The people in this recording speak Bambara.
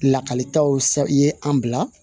Lakalitaw ye an bila